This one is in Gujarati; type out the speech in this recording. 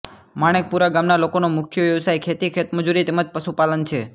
માણેકપુરા ગામના લોકોનો મુખ્ય વ્યવસાય ખેતી ખેતમજૂરી તેમ જ પશુપાલન છે